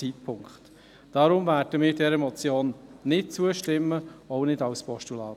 Deshalb werden wir dieser Motion nicht zustimmen, auch nicht als Postulat.